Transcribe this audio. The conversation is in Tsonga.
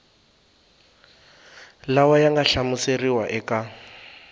lawa ya nga hlamuseriwa eka